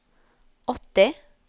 åtti